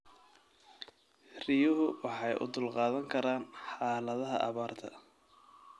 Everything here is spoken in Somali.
Riyuhu waxay u dulqaadan karaan xaaladaha abaarta.